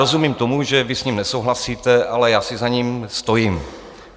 Rozumím tomu, že vy s ním nesouhlasíte, ale já si za ním stojím.